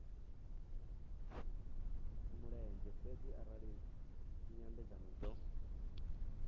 mulenzhe fhedzi arali nyambedzano dzo